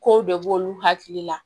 Kow de b'olu hakili la